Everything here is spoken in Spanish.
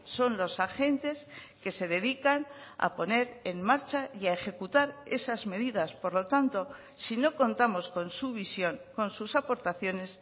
son los agentes que se dedican a poner en marcha y a ejecutar esas medidas por lo tanto si no contamos con su visión con sus aportaciones